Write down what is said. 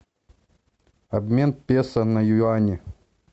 обмен песо на юани